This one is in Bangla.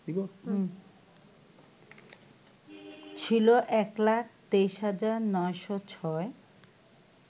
ছিল ১২৩৯০৬